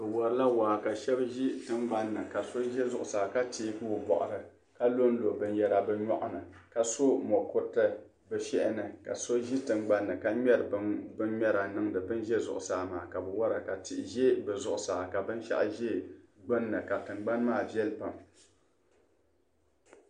Bɛ warila waa ka shɛba ʒi tiŋgbani ka so ʒi zuɣusaa ka teegi o bɔɣiri ka lonlo binyɛra bɛ nyɔɣu ni ka sɔ mukuriti bɛ shɛhi ni ka so ʒi tiŋgbani ka ŋmɛri bin’ŋmɛra niŋdi ban ʒe zuɣusaa maa ka bɛ wara ka tihi ʒe bɛ zuɣusaa ka binshɛɣu ʒe gbunni ka tiŋgbani maa viɛlli pam.